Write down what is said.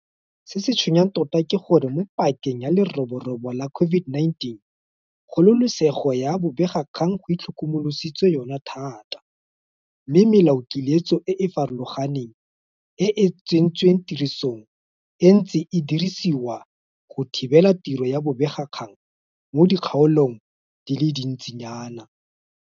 Se se tshwenyang tota ke gore mo pakeng ya leroborobo la COVID-19 kgololesego ya bobegakgang go itlhokomolositswe yona thata, mme melaokiletso e e farologaneng e e tsentsweng tirisong e ntse e dirisiwa go thibela tiro ya bobegakgang mo dikgaolong di le dintsi nyana.